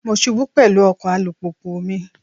Mo ṣubú pẹ̀lú ọkọ̀ alùpùpù mi.